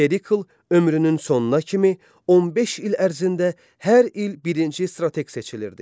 Perikl ömrünün sonuna kimi 15 il ərzində hər il birinci strateq seçilirdi.